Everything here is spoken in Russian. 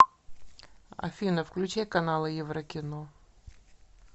афина включай каналы еврокино